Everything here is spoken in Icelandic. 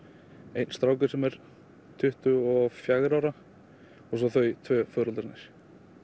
einn strákur sem er tuttugu og fjögurra ára og svo foreldrarnir